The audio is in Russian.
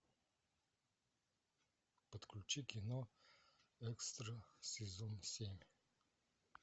подключи кино экстра сезон семь